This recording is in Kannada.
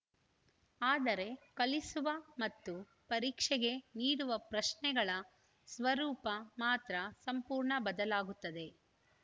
ಆದರೆ ಕಲಿಸುವ ಮತ್ತು ಪರೀಕ್ಷೆಗೆ ನೀಡುವ ಪ್ರಶ್ನೆಗಳ ಸ್ವರೂಪ ಮಾತ್ರ ಸಂಪೂರ್ಣ ಬದಲಾಗುತ್ತದೆ